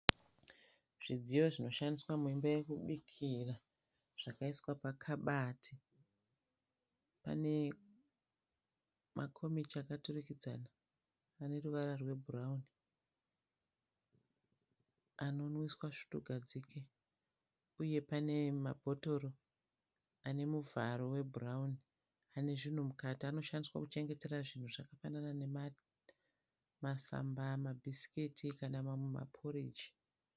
Zvidziyo zvinoshandiswa muimba yekubikira zvakaiswa pakabati. Pane makomichi akaturikidzana aneruvara rwebhurauni anomwiswa svutuugadzike uye pane mabhotoro anemuvharo webhurauni anezvunhu mukati. Anoshandiswa kuchengetera zvinhu zvakafanana nemasamba, mabhisiketi kana mamwe maporji.